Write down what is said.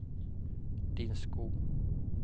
Din Sko